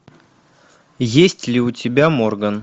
есть ли у тебя морган